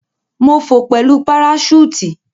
Mo fò pẹlu paraṣúùtì.